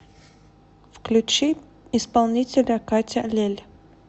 включи исполнителя катя лель